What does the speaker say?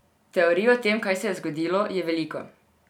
Teorij, o tem, kaj se je zgodilo, je veliko.